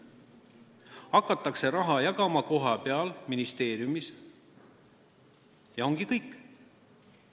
Hakatakse raha jagama kohapeal, ministeeriumis, ja ongi kõik.